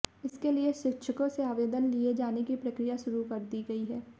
इसके लिए शिक्षकों से आवदेन लिए जाने की प्रक्रिया शुरू कर दी गई है